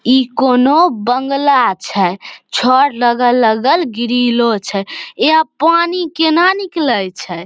इ कोनो बंगला छै छर लगल-लगल ग्रीलो छै यहाँ पानी केना निकले छै।